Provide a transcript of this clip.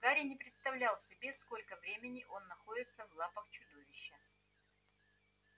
гарри не представлял себе сколько времени он находится в лапах чудовища